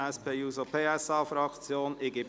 Es wird eine freie Diskussion geführt.